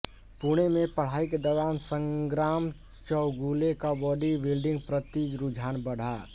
पुणे में पढ़ाई के दौरान संग्राम चौगुले का बॉडी बिल्डिंग प्रति रुझान बढ़ा